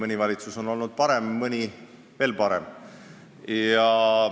Mõni valitsus on olnud hea ja mõni veel parem.